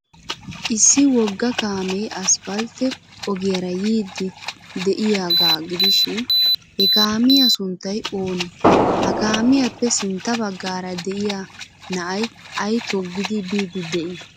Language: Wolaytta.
Issi wogga kaamee asppaltte ogiyaara yiiddi de'iyaagaa gidishin, He kaamiya sunttay oonee? Ha kaamiyaappe sintta baggaara de'iya na'ay ay toggidi biiddi de'ii?